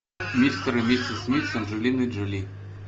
мистер и миссис смит с анджелиной джоли